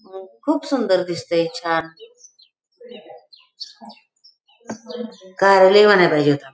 खूप सुंदर दिसतय छान कार्यालय म्हणाय पाहिजे होत.